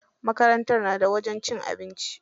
Makarantar na da wajen cin abinci.